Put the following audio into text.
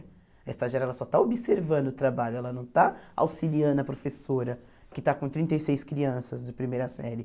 A estagiária ela só está observando o trabalho, ela não está auxiliando a professora, que está com trinta e seis crianças de primeira série.